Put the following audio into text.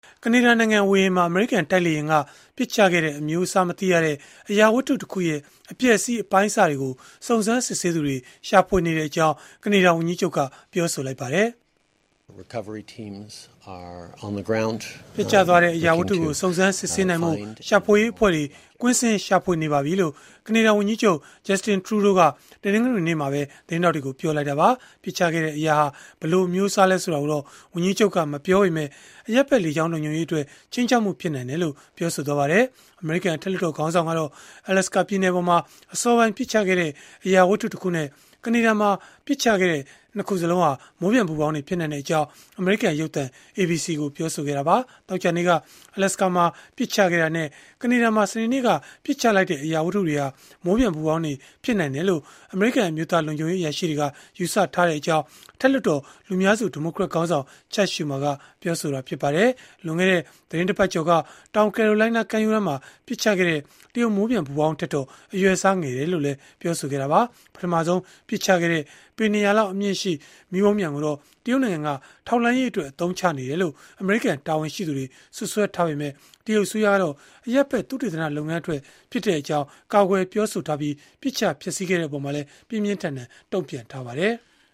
ကနေဒါနိုင်ငံဝေဟင်မှာ အမေရိကန်တိုက်လေယာဉ်ကပစ်ချခဲ့တဲ့ အမျိုးအစားမသိရတဲ့ အရာဝတ္ထုတခုရဲ့အပျက်အစီးအပိုင်းအစတွေကို စုံစမ်းစစ်ဆေးသူတွေ ရှာဖွေနေကြောင်း ကနေဒါဝန်ကြီးချုပ်ကပြောပါတယ်။ “ပျက်ကျသွားတဲ့ အရာဝတ္ထုကို စုံစမ်းစစ်ဆေးနိုင်ဖို့ ရှာဖွေရေးအဖွဲ့တွေ ကွင်းဆင်းရှာဖွေနေပါပြီ။” လို့ ကနေဒါဝန်ကြီးချုပ် Justin Trudeau က တနင်္ဂနွေနေ့မှာ သတင်းထောက်တွေကို ပြောလိုက်တာပါ။ ပစ်ချခဲ့တဲ့အရာဟာ ဘယ်လိုအမျိုးအစားလဲဆိုတာကို ဝန်ကြီးချုပ်က မပြောပေမဲ့ အရပ်ဖက် လေကြောင်းလုံခြုံရေးအတွက် ခြိမ်းခြောက်မှုဖြစ်နိုင်ကြောင်း ပြောခဲ့ပါတယ်။ အမေရိကန် အထက်လွှတ်တော်ခေါင်းဆောင်ကတော့ Alaska ပြည်နယ်ပေါ်မှာ အစောပိုင်းပစ်ချခဲ့တဲ့ အရာဝတ္ထုတခုနဲ့ ကနေဒါမှာပစ်ချခဲ့တဲ့ယာဉ် ၂ ခုစလုံးဟာ မိုးပျံပူဖောင်းတွေဖြစ်နိုင်ကြောင်း အမေရိကန်ရုပ်သံ ABC ကို ပြောဆိုခဲ့တာပါ။ သောကြာနေ့က Alaska မှာ ပစ်ချခဲ့တာနဲ့ ကနေဒါမှာ စနေနေ့က ပစ်ချလိုက်တဲ့ အရာဝတ္ထုတွေဟာ မိုးပျံပူဖောင်းတွေ ဖြစ်နိုင်တယ်လို့ အမေရိကန်အမျိုးသားလုံခြုံရေး အရာရှိတွေက ယူဆထားကြောင်း အထက်လွှတ်တော် လူများစုဒီမိုကရက်ခေါင်းဆောင် Chuck Schumer ကပြောပါတယ်။ လွန်ခဲ့တဲ့သီတင်းတပတ်ကျော်က တောင်ကယ်ရိုလိုင်းနားကမ်းရိုးတန်းမှာ ပစ်ချခဲ့တဲ့ တရုတ်မိုးပျံပူဖောင်းထက်တော့ အရွယ်အစားငယ်ကြောင်းလည်း ပြောဆိုခဲ့တာပါ။ ပထမဆုံးပစ်ချခဲ့တဲ့ ပေ ၂၀၀ လောက်အမြင့်ရှိတဲ့ မီးပုံပျံကိုတော့ တရုတ်နိုင်ငံက ထောက်လှမ်းရေးအတွက် အသုံးချနေတယ်လို့ အမေရိကန်တာဝန်ရှိသူတွေကစွပ်စွဲထားပေမဲ့ တရုတ်အစိုးရကတော့ အရပ်ဖက် သုတေသနလုပ်ငန်းအတွက်ဖြစ်ကြောင်း ကာကွယ်ပြောဆိုထားပြီး ပစ်ချဖျက်ဆီးခဲ့တဲ့အပေါ်မှာလည်း ပြင်းပြင်းထန်ထန် တုံ့ပြန်ထားပါတယ်။